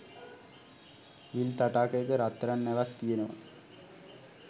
විල් තටාකයක රත්තරන් නැවක් තියෙනව